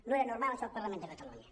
no era normal això al parlament de catalunya